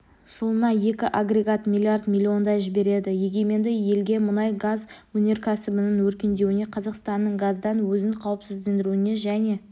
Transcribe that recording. жылына екі агрегат миллиард миллиондай жібереді егеменді елге мұнай-газ өнеркәсібінің өркендеуіне қазақстанның газдан өзін қауіпсіздендіруіне және